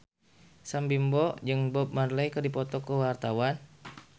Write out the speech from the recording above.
Sam Bimbo jeung Bob Marley keur dipoto ku wartawan